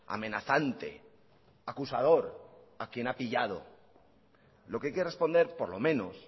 amenazante acusador a quien ha pillado lo que hay que responder por lo menos